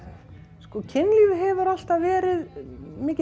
sko kynlífið hefur alltaf verið mikið